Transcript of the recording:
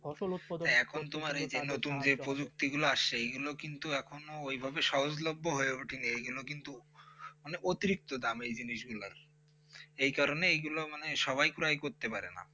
ফসল উৎপাদন, এখুন তোমার এইজো নতুন প্রযুক্তি গুলো আসেছে এইগুলো কিন্তু এখনো ওইভাবে সহজলভ্য হয়ে ওঠে এইগুলো কিন্তু মানে অতিরিক্ত দাম এই জিনিসগুলোর এই কারণে এইগুলো মানে সবাই ক্রয় করতে পারে না